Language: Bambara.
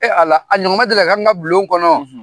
Ee Ala ! A ɲɔgɔn ma deli k'an ka bulon kɔnɔ wa ?